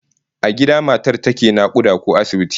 A gida matar take nakuda ko a asibiti?